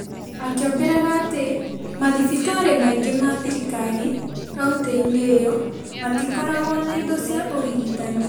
Akĩongerera atĩ mathibitarĩ maingĩ ma thirikarikauntĩ-inĩ ĩyo matikoragwo na indo cia ũrigitani ,